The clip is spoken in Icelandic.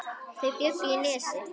Þau bjuggu í Nesi.